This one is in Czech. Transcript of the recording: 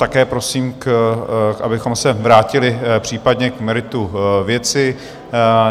Také prosím, abychom se vrátili případně k meritu věci.